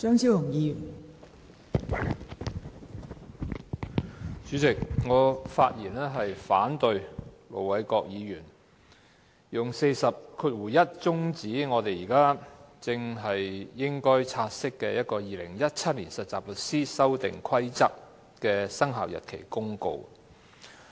代理主席，我發言反對盧偉國議員引用《議事規則》第401條，中止現正要察悉的《〈2017年實習律師規則〉公告》的討論。